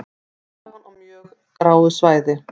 Tillagan á mjög gráu svæði